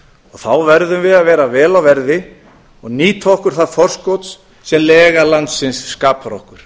þá verðum við að vera vel á verði og nýta okkur það forskot sem lega landsins skapar okkur